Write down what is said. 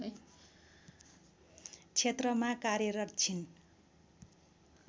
क्षेत्रमा कार्यरत छिन्